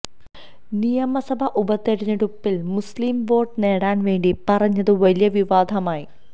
നിയമസഭാ ഉപതെരഞ്ഞെടുപ്പില് മുസ്ലിം വോട്ട് നേടാന് വേണ്ടി പറഞ്ഞത് വലിയ വിവാദമായി